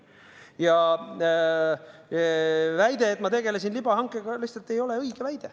Ja väide, et ma tegelesin libahankega, lihtsalt ei ole õige väide.